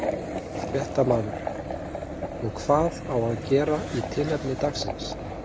Fréttamaður: Og hvað á að gera í tilefni dagsins?